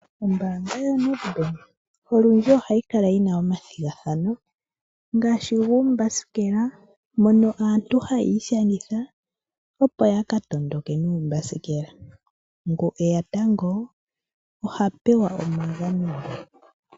Ombaanga yoNedbank olundji ohayi kala yi na omathigathano ngaashi guuthanguthangu mono aantu haya ishangitha opo yakatondoke nuuthanguthangu, ngu eya tango ohapewa omagano ge.